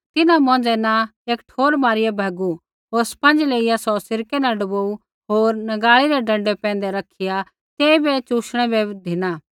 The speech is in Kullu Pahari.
तिन्हां मौंझ़ै न एक ठोर मारिया भैगू होर स्पंज लेइया सौ सिरकै न डूबाऊ होर नगाल़ी रै डँडै पैंधै रखिया तेइबै चुशणै बै धिना